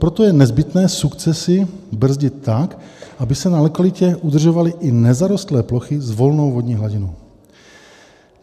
"Proto je nezbytné sukcesi brzdit tak, aby se na lokalitě udržovaly i nezarostlé plochy s volnou vodní hladinou.